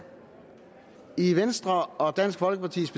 i venstre og dansk folkepartis